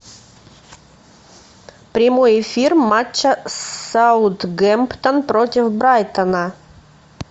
прямой эфир матча саутгемптон против брайтона